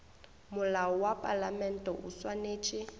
molao wa palamente o swanetše